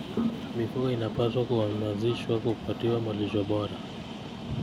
Mifugo inapaswa kuhamasishwa kupatiwa malisho bora.